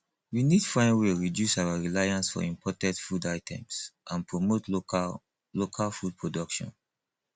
we need find way reduce our reliance for imported food items and promote local local food production